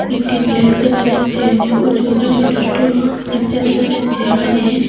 একটি ফ্ল্যাগ দেখা যাচ্ছে অনেক উঁচু এখানে ছোট ছোট বাচ্চা দেখা যাচ্ছে এখানে--